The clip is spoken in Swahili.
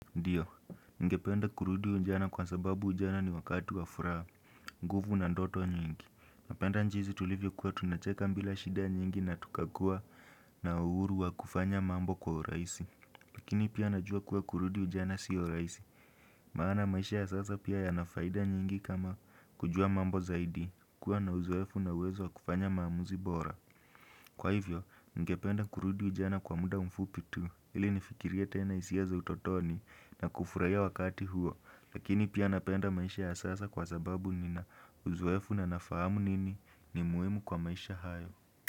Ndiyo, ningependa kurudi ujana kwa sababu ujana ni wakati wa furaha, nguvu na ndoto nyingi. Napenda jinzi tulivyo kuwa tunacheka bila shida nyingi na tukakua na uhuru wa kufanya mambo kwa urahisi. Lakini pia najua kuwa kurudi ujana siyo raisi. Maana maisha ya sasa pia yanafaida nyingi kama kujua mambo zaidi, kuwa na uzoefu na uwezo wa kufanya maamuzi bora. Kwa hivyo, ningependa kurudi ujana kwa muda mfupi tu ili nifikirie tena hisia za utotoni na kufuraia wakati huo lakini pia napenda maisha ya sasa kwa sababu nina uzoefu na nafahamu nini ni muhimu kwa maisha hayo.